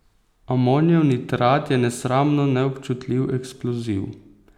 Amonijev nitrat je nesramno neobčutljivi eksploziv.